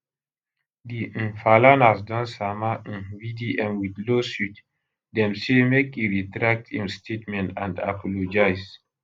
di um falanas don sama um vdm wit lawsuit dem say make e retract im statement and apologise